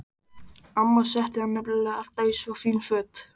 Amma setti hann nefnilega alltaf í svo fín föt.